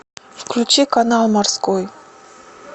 включи канал морской